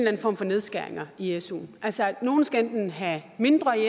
anden form for nedskæringer i suen altså enten skal nogle have mindre i